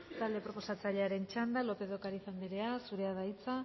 talde proposatzailearen txanda lópez de ocariz andrea zurea da hitza